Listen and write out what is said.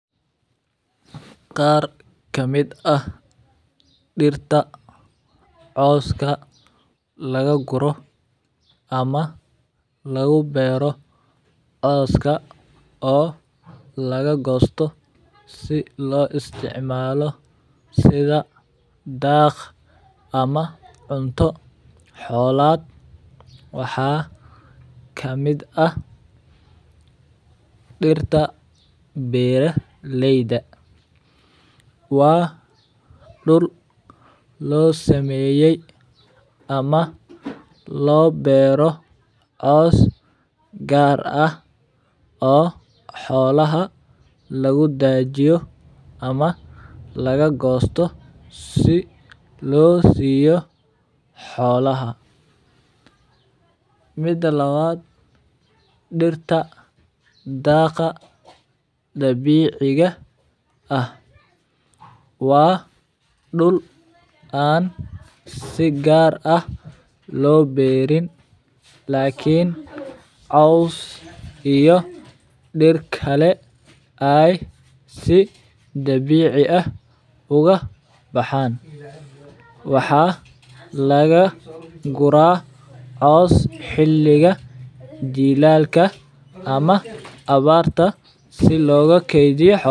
Qar kamiid ah dirta coska laga guro ama laga beero coska oo laga gosto si loga isticmalo sitha daq ama cunto dolaad waxaa kamiid ah dirta beera leyda waa dir lo sameyay ama lo doro cos gar ah oo xolaha lagu dajiyo ama laga gosto si lo siyo xolaha, mida lawaad dirta daqa dabkciga ah waa dul an si gar ah lo beerin lakin cos iyo dir kale ee si dabici ah uga baxan waxaa laga gura cos xiliga jilalka ama awarta si loga kedhiyo xolaha.